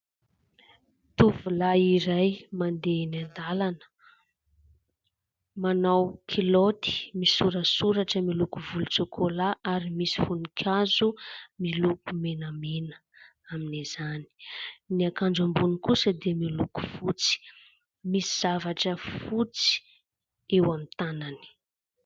Tovolahy iray mandeha eny an-dalana, manao kilaoty misoratsoratra miloko volontsokola ary misy voninkazo miloko menamena amin'izany. Ny akanjo ambony kosa dia miloko fotsy, misy zavatra fotsy eo amin'ny tanany.